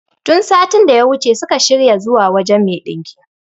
Tun satin daya wuce suka shirya zuwa wajen me ɗinkin